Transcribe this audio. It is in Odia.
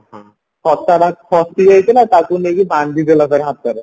ଟା ଖସିଯାଇଥିଲା ତାକୁ ନେଇକି ବାନ୍ଧିଦେଲା ତାର ହାତରେ